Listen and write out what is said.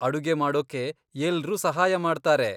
ಅಡುಗೆ ಮಾಡೋಕೆ ಎಲ್ರೂ ಸಹಾಯ ಮಾಡ್ತಾರೆ.